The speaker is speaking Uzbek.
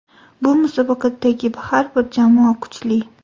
Bu musobaqadagi har bir jamoa kuchli.